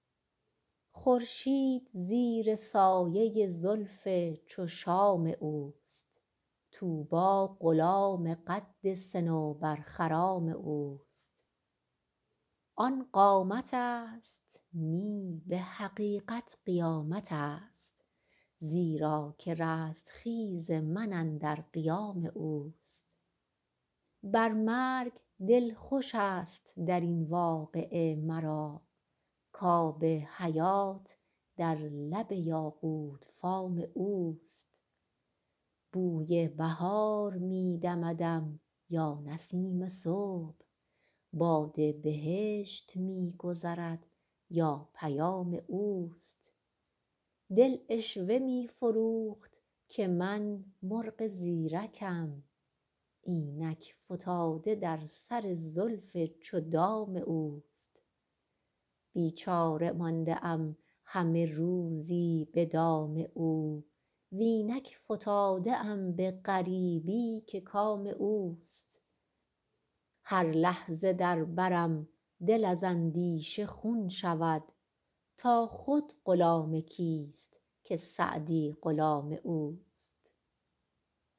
خورشید زیر سایه زلف چو شام اوست طوبی غلام قد صنوبرخرام اوست آن قامتست نی به حقیقت قیامتست زیرا که رستخیز من اندر قیام اوست بر مرگ دل خوشست در این واقعه مرا کآب حیات در لب یاقوت فام اوست بوی بهار می دمدم یا نسیم صبح باد بهشت می گذرد یا پیام اوست دل عشوه می فروخت که من مرغ زیرکم اینک فتاده در سر زلف چو دام اوست بیچاره مانده ام همه روزی به دام او و اینک فتاده ام به غریبی که کام اوست هر لحظه در برم دل از اندیشه خون شود تا خود غلام کیست که سعدی غلام اوست